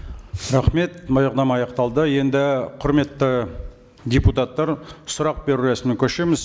рахмет баяндама аяқталды енді құрметті депутаттар сұрақ беру рәсіміне көшеміз